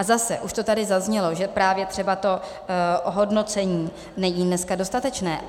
A zase, už to tady zaznělo, že právě třeba to ohodnocení není dneska dostatečné.